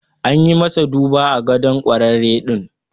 An yi masa duba a gadon kwarare din.